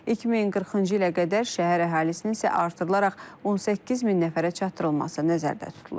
2040-cı ilə qədər şəhər əhalisinin isə artırılaraq 18 min nəfərə çatdırılması nəzərdə tutulur.